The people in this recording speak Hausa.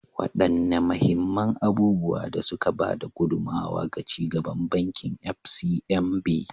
Wadanne mahimman abubuwan da suka ba da gudummawa ga ci gaban Bankin FCMB?